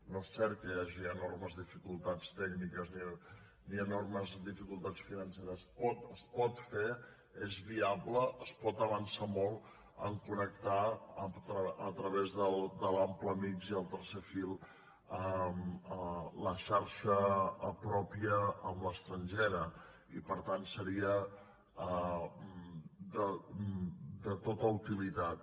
no és cert que hi hagi enormes dificultats tècniques ni enormes dificultats financeres es pot fer és viable es pot avançar molt en connectar a través de l’ample mixt i el tercer fil la xarxa pròpia amb l’estrangera i per tant seria de tota utilitat